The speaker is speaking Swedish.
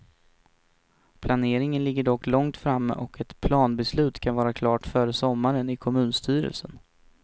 Planeringen ligger dock långt framme och ett planbeslut kan vara klart före sommaren i kommunstyrelsen.